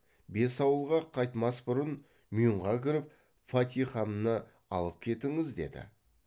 бес ауылға қайтмас бұрын мюңға кіріп фатихамны алып кетіңіз деді